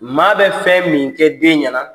Maa bɛ fɛn min kɛ den ɲɛna